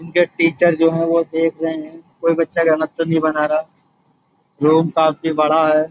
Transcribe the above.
इनके टीचर जो हैं वो देख रहे है। कोई बच्चा गलत तो नहीं बना रहा रूम काफी बड़ा है।